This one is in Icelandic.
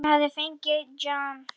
Hann hafði fengið John